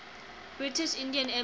british indian empire